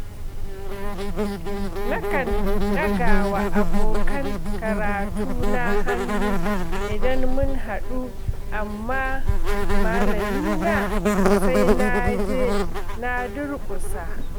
Nakan ɗaga wa abokan karatuna hannu idan mun haɗu, amma malamina sai na je na durƙusa.